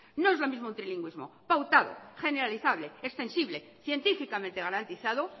no es lo mismo un trilingüismo pautado generalizable extensible científicamente garantizado